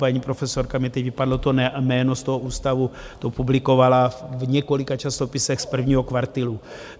Paní profesorka, mně teď vypadlo to jméno, z toho ústavu to publikovala v několika časopisech z prvního kvartilu.